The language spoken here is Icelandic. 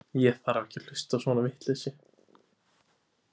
Ég þarf ekki að hlusta á svona vitleysu.